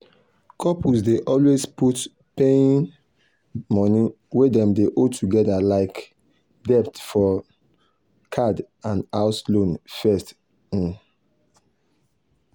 couples dey always put paying um money wey dem owe togedr like debt for um card and house loan first um